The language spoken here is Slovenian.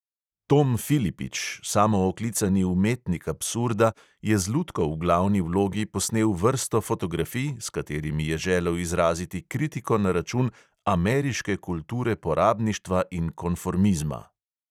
Tom filipič, samooklicani umetnik absurda, je z lutko v glavni vlogi posnel vrsto fotografij, s katerimi je želel izraziti kritiko na račun "ameriške kulture porabništva in konformizma".